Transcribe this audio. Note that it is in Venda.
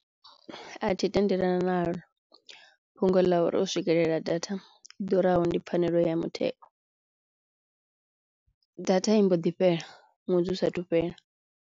A thi tendelana naḽo fhungo ḽa uri u swikelela data i ḓuraho ndi pfhanelo ya mutheo, data i mbo ḓi fhela ṅwedzi u sathu fhela.